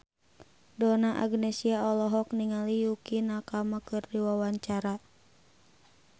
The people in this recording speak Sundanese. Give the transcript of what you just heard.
Donna Agnesia olohok ningali Yukie Nakama keur diwawancara